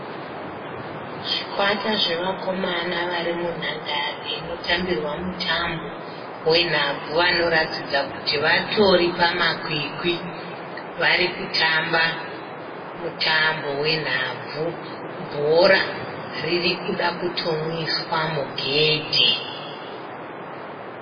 Zvikwata zvevakomana vari munhandare inotambirwa mutambo wenhabvu vanoratidza kuti vatori pamakwikwi. Vari kutamba mutambo wenhabvu. Bhora riri kuda kutomwiswa mugedhe.